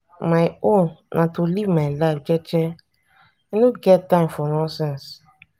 my own na to live my life jeje i know get time for nonsense.